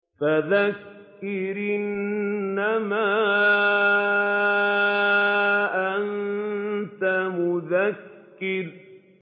فَذَكِّرْ إِنَّمَا أَنتَ مُذَكِّرٌ